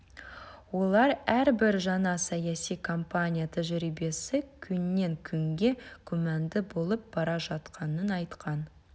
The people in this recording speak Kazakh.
олар әрбір жаңа саяси компания тәжірибесі күннен күнге күмәнді болып бара жатқанын айтқан